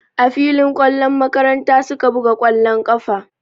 A filin ƙwallon makaranta su ka buga ƙwallon ƙafa.